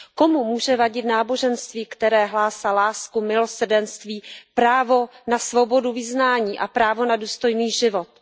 Komu může vadit náboženství, které hlásá lásku, milosrdenství, právo na svobodu vyznání a právu na důstojný život.